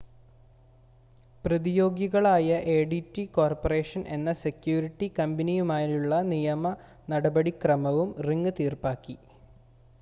പ്രതിയോഗികളായ ADT corporation എന്ന security കമ്പനിയുമായുള്ള നിയമ നടപടിക്രമവും റിംഗ് തീർപ്പാക്കി